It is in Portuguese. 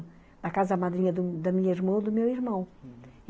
Na casa madrinha da da minha irmã ou do meu irmão, uhum.